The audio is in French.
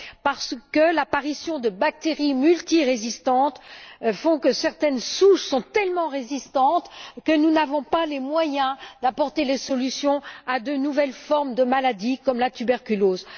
parce que l'apparition de bactéries multirésistantes fait que certaines souches sont tellement résistantes que nous n'avons pas les moyens d'apporter des solutions à de nouvelles formes de maladie, comme la tuberculose.